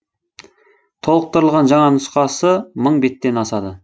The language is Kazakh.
толықтырылған жаңа нұсқасы мың беттен асады